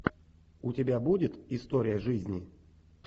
у тебя будет история жизни